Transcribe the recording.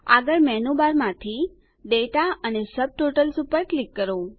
આગળ મેનુ બારમાંથી દાતા અને સબટોટલ્સ પર ક્લિક કરો